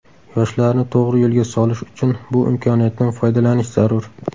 Yoshlarni to‘g‘ri yo‘lga solish uchun bu imkoniyatdan foydalanish zarur.